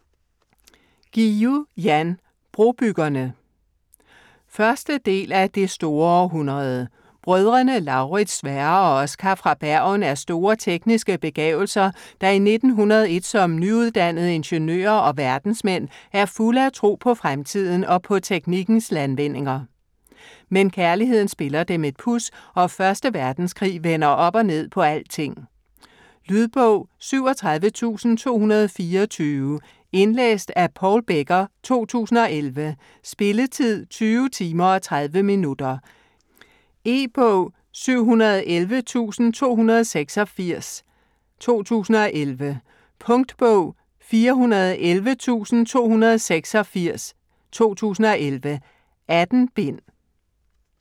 Guillou, Jan: Brobyggerne 1. del af Det store århundrede. Brødrene Lauritz, Sverre og Oscar fra Bergen er store tekniske begavelser, der i 1901 som nyuddannede ingeniører og verdensmænd er fulde af tro på fremtiden og på teknikkens landvindinger. Men kærligheden spiller dem et puds, og første verdenskrig vender op og ned på alting. Lydbog 37224 Indlæst af Paul Becker, 2011. Spilletid: 20 timer, 30 minutter. E-bog 711286 2011. Punktbog 411286 2011. 18 bind.